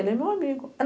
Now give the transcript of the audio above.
Ele é meu amigo.